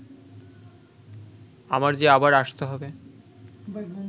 আমার যে আবার আসতে হবে